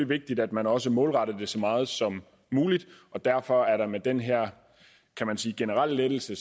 vigtigt at man også målretter det så meget som muligt og derfor er det med den her kan man sige generelle lettelse